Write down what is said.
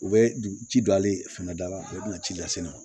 U bɛ ji don ale fɛnɛ da la u bɛna ci lase ne ma